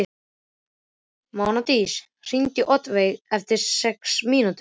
Mánadís, hringdu í Oddveigu eftir sex mínútur.